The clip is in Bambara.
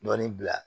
Dɔɔnin bila